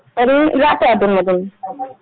तरी जातो अधूनमधून